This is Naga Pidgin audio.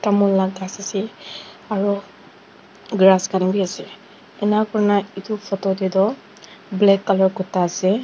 tamul laga ghas asa aru grass khan vi ase enika kurina etu photo tae toh black colour kura ase.